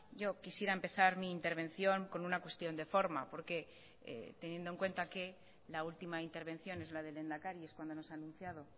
yo quisiera empezar mi intervención con una cuestión de forma porque teniendo en cuenta que la última intervención es la del lehendakari es cuando nos ha anunciado